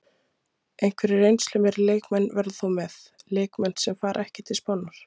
Einhverjir reynslumeiri leikmenn verða þó með, leikmenn sem fara ekki til Spánar.